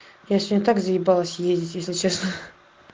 если так заебалось ездить если честно